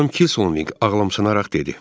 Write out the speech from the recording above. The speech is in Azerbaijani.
Xanım Kilsonqin ağlamşanaraq dedi.